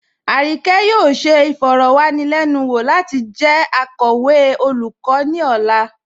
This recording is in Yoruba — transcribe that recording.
Arike yóò ṣẹ ifọ̀rọ̀wanilẹnuwo lati jẹ akọwe olùkọ̀ ni ọ̀là.